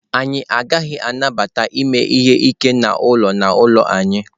Anyị agaghị anabata ime ihe ike n'ụlọ n'ụlọ anyị.